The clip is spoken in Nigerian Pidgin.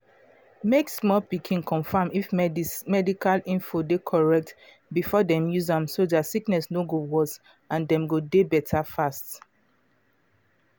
mek small pikin confam if medical info de correct before dem use am so dia sickness no go worse and dem go dey better fast.